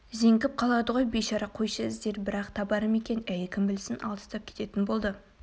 зеңгіп қалады ғой бейшара қойшы іздер бірақ табар ма екен әй кім білсін алыстап кететін болды